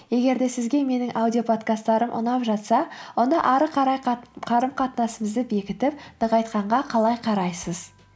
егер де сізге менің аудиоподкасттарым ұнап жатса онда ары қарай қарым қатынасымызды бекітіп нығайтқанға қалай қарайсыз